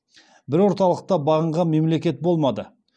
бір орталыққа бағынған мемлекет болмады